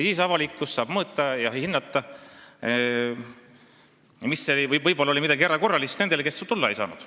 Siis saab avalikkus mõõta ja hinnata, et võib-olla oli tõesti midagi erakorralist ees nendel, kes tulla ei saanud.